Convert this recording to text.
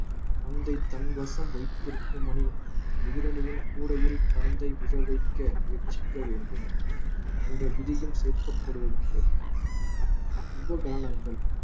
பந்தை தன்வசம் வைத்திருக்கும் அணி எதிரணியின் கூடையில் பந்தை விழ வைக்க முயற்சிக்க வேண்டும் என்ற விதியும் சேர்க்கப்படுவது உண்டு உபகரணங்கள்